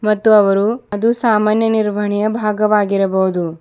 ಮತ್ತು ಅವರು ಅದು ಸಾಮಾನ್ಯ ನಿರ್ವಹಣೆಯ ಭಾಗವಾಗಿರಬಹುದು.